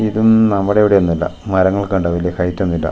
ഇതും നമ്മടെ അവിടെ ഒന്നുമല്ല മരങ്ങളൊക്കെ കണ്ടോ വലിയ ഹൈറ്റ് ഒന്നുമില്ല.